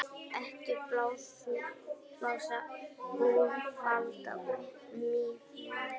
Ekki blása úlfalda úr mýflugu